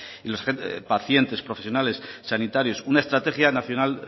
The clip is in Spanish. los pacientes profesionales sanitarios una estrategia nacional